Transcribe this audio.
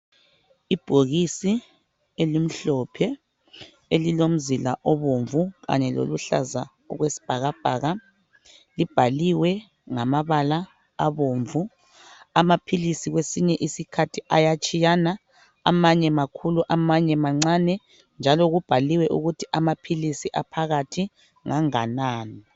Ibhokisi elimhlophe elilomzila obomvu, kanye loluhlaza okwesibhakabhaka. Libhaliwe ngamabala abomvu. Amaphilisi kwesinye isikhathi ayatshiyana amanye makhulu amanye mancane njalo kubhaliwe ukuthi amaphilisi aphakathi nganganani.